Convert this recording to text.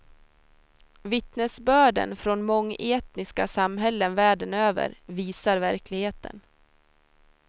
Vittnesbörden från mångetniska samhällen världen över visar verkligheten.